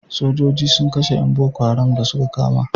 Sojoji sun kashe yan boko haram da su ka kama